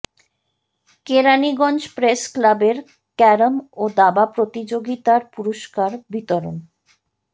Keraniganj press ক্লাবের carrom ও দাবা প্রতিযোগিতার পুরস্কার বিতরণ